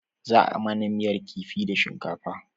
Za a mana miyar kifi da shinkafa